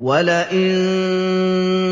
وَلَئِن